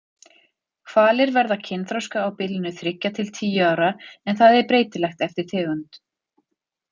Hvalir verða kynþroska á bilinu þriggja til tíu ára en það er breytilegt eftir tegund.